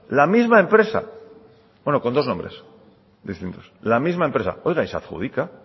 la misma empresa bueno con dos nombres distintos la misma empresa oiga y se adjudica